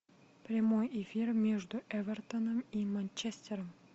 прямой эфир между эвертоном и манчестером